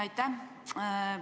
Aitäh!